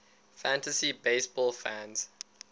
fantasy baseball fans